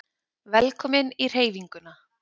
Velkomin í Hreyfinguna